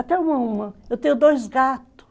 Até uma, eu tenho dois gatos.